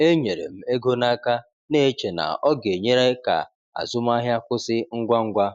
E nyere m ego n’aka, na-eche na ọ ga-enyere ka azụmahịa kwụsị ngwa ngwa.